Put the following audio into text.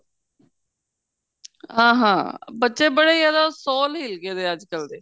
ਹਾਂ ਹਾਂ ਬੱਚੇ ਬੜੇ ਜਿਆਦਾ ਸੋਲ ਹਿਲ ਗਏ ਅੱਜਕਲ ਦੇ